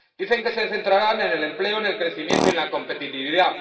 Dicen que se centrarán en el empleo, en el crecimiento y en la competitividad.